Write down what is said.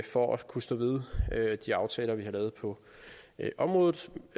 for at kunne stå ved de aftaler vi har lavet på området